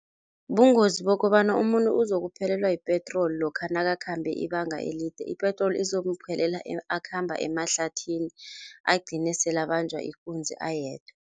Bungozi bokobana umuntu uzokuphelelwa yipetroli lokha nakakhambe ibanga elide, ipetroli izomuphelela akhamba emahlathini agcine sele abanjwa ikunzi ayedwa.